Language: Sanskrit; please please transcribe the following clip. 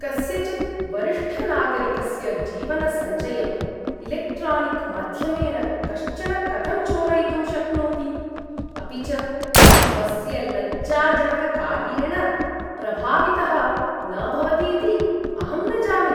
कस्यचित् वरिष्ठनागरिकस्य जीवनसञ्चयं इलेक्ट्रानिक्माध्यमेन कश्चन कथं चोरयितुं शक्नोति, अपि च स्वस्य लज्जाजनककार्येण प्रभावितः न भवतीति अहं न जाने।